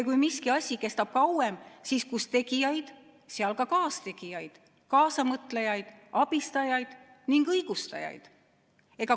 Kui miski asi kestab kauem, siis kus tegijaid, seal ka kaastegijaid, kaasamõtlejaid, abistajaid ja õigustajaid.